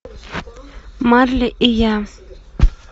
марли и я